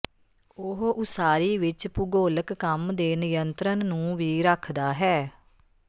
ਉਹ ਉਸਾਰੀ ਵਿੱਚ ਭੂਗੋਲਿਕ ਕੰਮ ਦੇ ਨਿਯੰਤਰਣ ਨੂੰ ਵੀ ਰੱਖਦਾ ਹੈ